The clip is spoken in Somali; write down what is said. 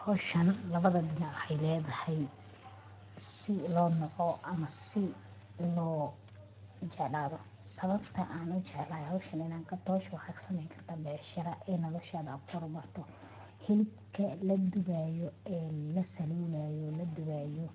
Howshan labada dhinac ay leedahay si loo naco ama so loo jeclado sababtoo aan u jeclay owshaan inaan ka dooshu xog sameyn ka dambeeya shirar ee noloshaada gurmato hilibka la dubaayo ee la saluulayo la duwayo